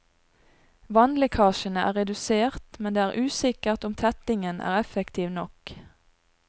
Vannlekkasjene er redusert, men det er usikkert om tettingen er effektiv nok.